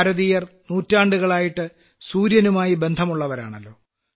ഭാരതീയർ നൂറ്റാണ്ടുകളായിട്ട് സൂര്യനുമായി ബന്ധമുള്ളവരാണല്ലോ